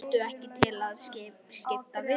Ertu ekki til í að skipta við mig?